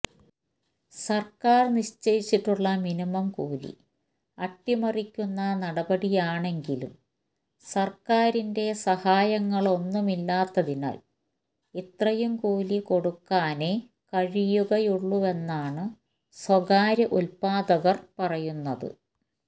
സർക്കാർ നിശ്ചയിച്ചിട്ടുള്ള മിനിമം കൂലി അട്ടിമറിക്കുന്ന നടപടിയാണെങ്കിലും സർക്കാരിന്റെ സഹായങ്ങളൊന്നുമില്ലാത്തതിനാൽ ഇത്രയും കൂലി കൊടുക്കാനെ കഴിയുകയുള്ളൂവെന്നാണ് സ്വകാര്യ ഉത്പാദകർ പറയുന്നത്